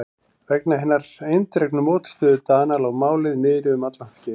Vegna hinnar eindregnu mótstöðu Dana lá málið niðri um alllangt skeið.